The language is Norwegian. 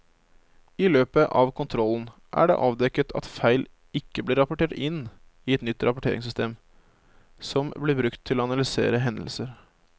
I løpet av kontrollen er det avdekket at feil ikke blir rapportert inn i et nytt rapporteringssystem som blir brukt til å analysere hendelser.